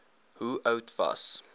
hoe oud was